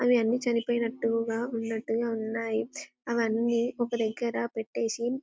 అవన్నీ చనిపోయినట్టు ఉన్నట్టుగా ఉన్నాయి అలా ఒక దగ్గర పెట్టేసి.